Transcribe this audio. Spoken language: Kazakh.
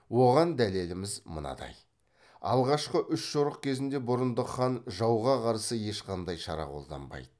оған дәлеліміз мынадай алғашқы үш жорық кезінде бұрындық хан жауға қарсы ешқандай шара қолданбайды